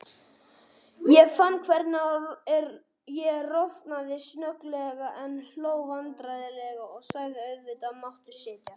Ég fann hvernig ég roðnaði snögglega, en hló vandræðalega og sagði: Auðvitað máttu setjast.